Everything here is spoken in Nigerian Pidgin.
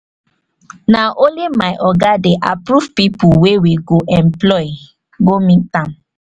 na only my oga dey approve pipu wey we go employ go meet am.